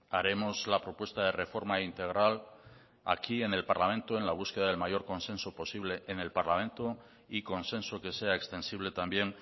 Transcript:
haremos la propuesta de reforma integral aquí en el parlamento en la búsqueda del mayor consenso posible en el parlamento y consenso que sea extensible también